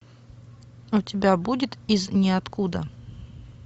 у тебя будет из ниоткуда